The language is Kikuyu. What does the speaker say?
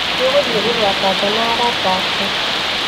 Nĩũgũthiĩ gũthaaka nja na arata aku